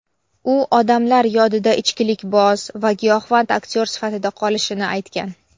u odamlar yodida ichkilikboz va giyohvand aktyor sifatida qolishini aytgan.